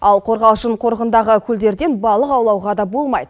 ал қорғалжын қорығындағы көлдерден балық аулауға да болмайды